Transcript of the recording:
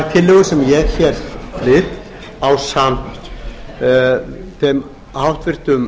tvö sem ég hér flyt ásamt þeim háttvirtum